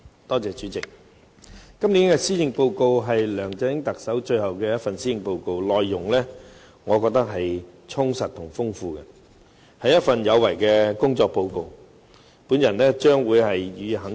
代理主席，今年的施政報告是特首梁振英任內最後一份，我認為它內容充實豐富，是一份有為的工作報告，我將會予以肯定。